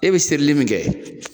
E be serili min kɛ